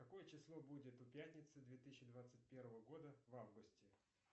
какое число будет у пятницы две тысячи двадцать первого года в августе